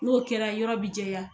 N'o kɛra yɔrɔ bi jɛya